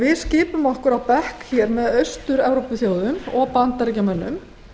við skipum okkur á bekk með austur evrópuþjóðum og bandaríkjamönnum